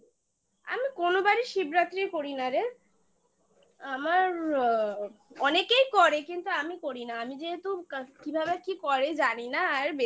আমি কোনোবারই শিবরাত্রি করি না রে আমার অনেকেই করে কিন্তু আমি করি না আমি যেহেতু কিভাবে কি করে জানি না আর বেকার